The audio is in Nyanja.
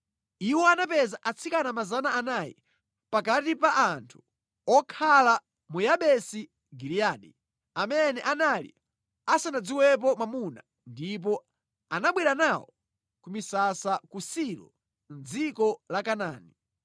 Iwo anapeza atsikana 400 pakati pa anthu okhala mu Yabesi Giliyadi amene anali asanadziwepo mwamuna ndipo anabwera nawo ku misasa ku Silo mʼdziko la Kanaani.